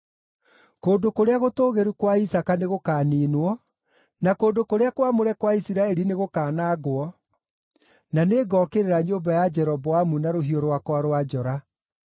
“Kũndũ kũrĩa gũtũũgĩru kwa Isaaka nĩgũkaniinwo, na kũndũ kũrĩa kwamũre kwa Isiraeli nĩgũkanangwo; na nĩngokĩrĩra nyũmba ya Jeroboamu na rũhiũ rwakwa rwa njora.”